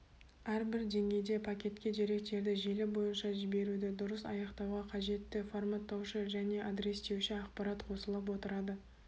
әрбір деңгейде пакетке деректерді желі бойынша жіберуді дұрыс аяқтауға қажетті форматтаушы немесе адрестеуші ақпарат қосылып отырады